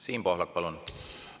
Siim Pohlak, palun!